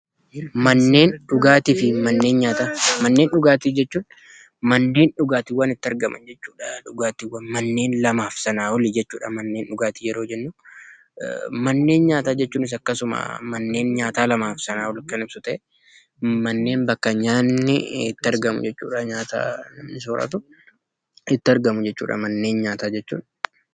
Manneen dhugaatii jechuun manneen dhugaatiin itti argamu jechuudha. Manneen Kunis lamaa fi isaa ol ta'uu danda'a. Manneen nyaata jechuun bakka manni nyaata lamaa fi isaa ol jiranidha. Manneen nyaata bakka nyaanni itti argamudha.